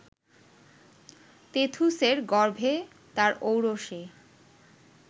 তেথুসের গর্ভে তার ঔরসে